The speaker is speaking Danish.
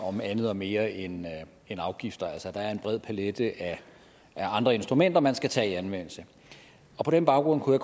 om andet og mere end afgifter altså der er en bred palet af andre instrumenter man skal tage i anvendelse på den baggrund kunne